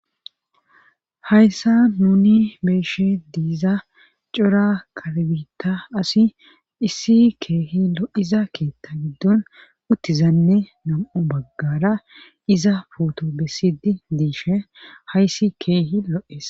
hayssa nuni beeshe diiza cora kalbita asi issi keehi lo iza keetta giddon uttizanne nam7o baggara iza pooto bessidi diishe hayssi keehi lo7ees